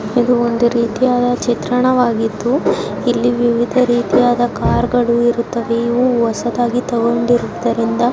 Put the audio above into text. ಇದು ಒಂದು ರೀತಿಯಾದ ಚಿತ್ರಣವಾಗಿದು ಇಲ್ಲಿ ವಿವಿದ ರೀತಿಯ ಕಾರ್ಗಳು ಇರುತ್ತವೆ ಇವು ಹೊಸದಾಗಿ ತಗೊಂಡಿದ್ದರಿಂದ --